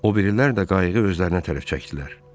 Obirilər də qayığı özlərinə tərəf çəkdilər.